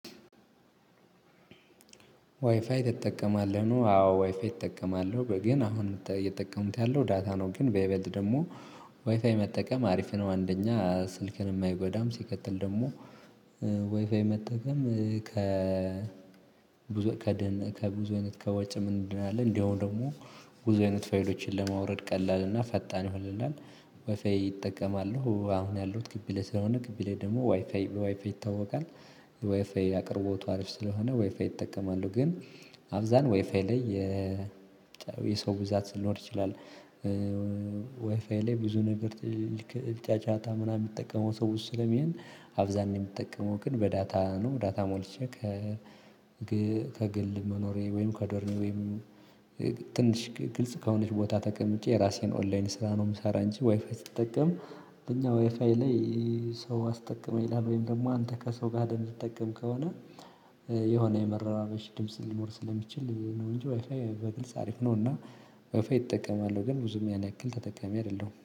ዋይፋይ ትጠቀማለህ ነው አዎ ዋይፋይ እጠቀማለሁ ግን አሁን እየተጠቀሙት ያለው ዳታ ነው ግን በይበልጥ ደግሞ ዋይፋይ መጠቀም አሪፍ ነው። አንደኛ ስልክንም አይጎዳም ሲቀጥል ደግሞ ዋይፋይ መጠቀም ከ ብዙ ከድህነት ከብዙ አይነት ከወጭም እንድናለን እንዲያው ደግሞ ብዙ አይነት ፋይሎችን ለማውረድ ቀላል እና ፈጣን ይሆንልናል። ዋይፋይ እጠቀማለሁ አሁን ያለሁት ግቢ ላይ ስለሆነ ግቢ ላይ ደግሞ ዋይፋይ ዋይፋይ ይታወቃል። ዋይፋይ አቅርቦቱ አሪፍ ስለሆነ ዋይፋይ እጠቀማለሁ ግን አብዛን ዋይፋይ ላይ የ የሰው ብዛት ልኖር ይችላል። ዋይፋይ ላይ ብዙ ነገር ልክ ጫጫታ ምናምን የሚጠቀመው ሰው ብዙ ስለሚሆን አብዛኛው የምጠቀመው ግን በዳታ ነው። ዳታ ሞልቼ ከ ከግል መኖሬ ወይም ከዶርም ወይም ትንሽ ግልጽ ከሆነች ቦታ ተቀምጬ የራሴን ኦንላይን ስራ ነው። የምሰራ እንጂ ዋይፋይ ስትጠቀም እኛ ዋይፋይ ላይ ሰው አስጠቅመኝ ይላል ወይም ደግሞ አንተ ከሰው ጋር እንድትጠቀም ከሆነ የሆነ የመረራበሽ ድምጽ ሊኖር ስለሚችል ነው እንጂ ዋይፋይ በግልጽ አሪፍ ነው። እና ዋይፋይ እጠቀማለሁ ግን ብዙም ያን ያክል ተጠቃሚ አይደለሁም